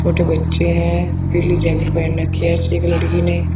छोटे बच्चे हैं। पीली जैकेट पहन रखी है एक लड़की ने।